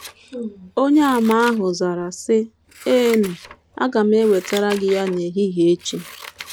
Onyeàmà ahụ zara, sị: “ Eenụ, aga m ewetara gị ya n’ehihie echi. ”